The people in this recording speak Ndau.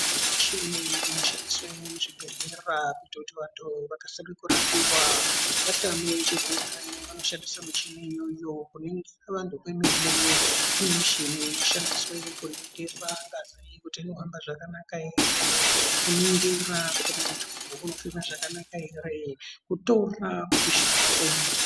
Muchini inoshandiswe muzvibhedhlera kuti vantu vakasire kurapiwa vatame chirwere vanoshandisa michini iyoyo. Kuningisa vantu kwemene kune michini inoshandiswa kuningira ngazi kuti inohamba zvakanaka ere. Kuningira kuti muntu unofema zvakanaka ere, kutora kupisha kwemwiri.